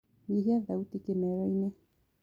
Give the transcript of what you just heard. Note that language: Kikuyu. nyĩhĩa thaũtĩ kimero-ini